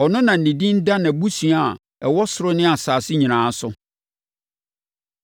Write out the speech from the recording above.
ɔno na ne din da nʼabusua a ɛwɔ ɔsoro ne asase nyinaa so.